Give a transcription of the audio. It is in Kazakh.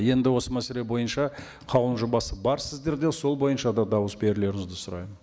енді осы мәселе бойынша қаулының жобасы бар сіздерде сол бойынша да дауыс берулеріңізді сұраймын